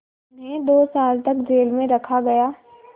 उन्हें दो साल तक जेल में रखा गया